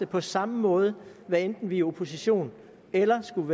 på samme måde hvad enten vi er i opposition eller skulle